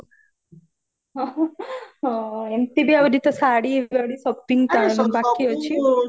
ହଁ ଏମତି ବି ଆହୁରି ଶାଢୀ ଫାଡୀ shopping ବାକି ଅଛି